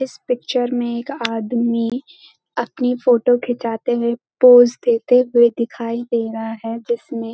इस पिक्चर में एक आदमी अपनी फोटो खिचाते हुए पोज देते हुए दिखाई दे रहा है जिसमें --